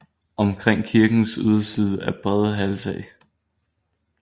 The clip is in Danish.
Omkring kirkens yderside er brede halvtag